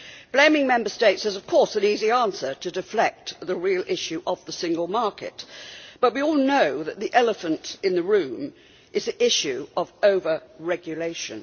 Blaming Member States is of course an easy answer to deflect the real issue of the single market, but we all know that the elephant in the room is the issue of over regulation.